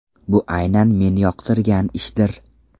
Bu aynan men yoqtirgan ishdir.